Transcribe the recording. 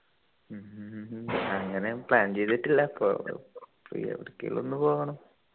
ഉം അങ്ങനെ plan ചെയ്തിട്ടില്ല കോ ഏർ എവിടെക്കേലും ഒന്നും പോകണം